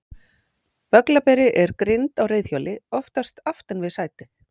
Bögglaberi er grind á reiðhjóli, oftast aftan við sætið.